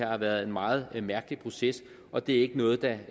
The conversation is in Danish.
har været en meget mærkelig proces og det er ikke noget der